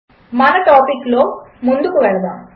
మన టాపిక్లో ముందుకు వెళ్దాము